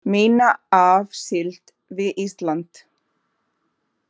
Minna af síld við Ísland